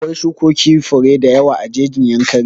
Akwai shukokin fure da yawa a jejin Yankari